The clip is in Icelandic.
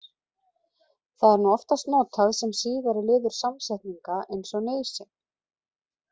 Það er nú oftast notað sem síðari liður samsetninga eins og nauðsyn.